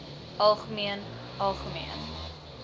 algemeen algemeen